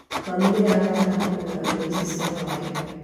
Mami nĩ arabanga kũgũra indo ici cia gwaka.